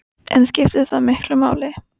Rúrik, hvernig er veðrið á morgun?